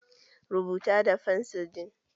Rubuta da fencil ɗin!